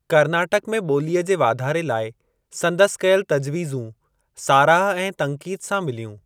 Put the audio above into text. करनाटक में ॿोलीअ जे वाधारे लाइ संदसि कयल तजवीज़ूं साराह ऐं तन्क़ीद सां मिलियूं।